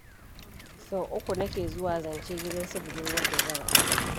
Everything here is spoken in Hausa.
Sau uku nake zuwa zance gidan su budurwar da zan aura.